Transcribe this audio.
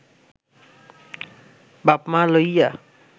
বাপ-মা লইয়া